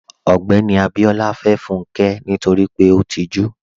Ogbẹ́ni Abíọlá fẹ́ Fúnkẹ́ nítorí pé ó tìjú.